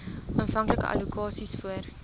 aanvanklike allokasies voor